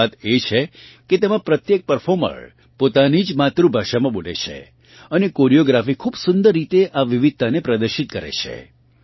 ખાસ વાત એ છે કે તેમાં પ્રત્યેક પરફોર્મર પોતાની જ માતૃભાષામાં બોલે છે અને કોરિયોગ્રાફી ખૂબ સુંદર રીતે આ વિવિધતાને પ્રદર્શિત કરે છે